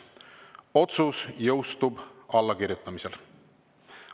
Otsus jõustub allakirjutamisel.